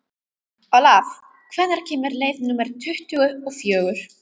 Olav, hvenær kemur leið númer tuttugu og fjögur?